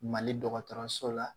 Mali dɔgɔtɔrɔso la